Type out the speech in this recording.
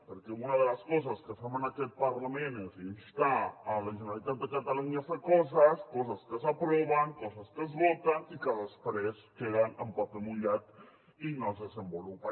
perquè una de les coses que fem en aquest parlament és instar la generalitat de catalunya a fer coses coses que s’aproven coses que es voten i que després queden en paper mullat i no es desenvolupen